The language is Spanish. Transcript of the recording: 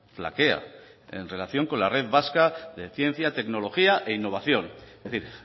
flaquea en relación con la red vasca de ciencia tecnología e innovación es decir